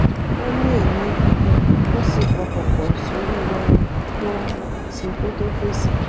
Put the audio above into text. ó mí èémí gígùn ó sì pọkàn pò sórí ohun tó ń ṣe kó tó fèsì